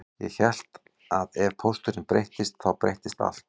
Ég hélt að ef pósturinn breyttist þá breyttist allt